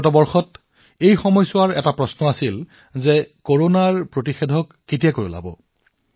যোৱা বছৰৰ প্ৰশ্নটো আছিল কৰোনা ভেকছিন কেতিয়া আহিব